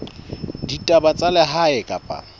ya ditaba tsa lehae kapa